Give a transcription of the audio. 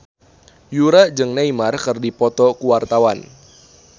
Yura jeung Neymar keur dipoto ku wartawan